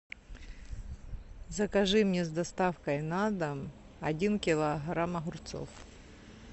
закажи мне с доставкой на дом один килограмм огурцов